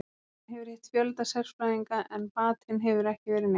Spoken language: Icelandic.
Hann hefur hitt fjölda sérfræðinga en batinn hefur ekki verið neinn.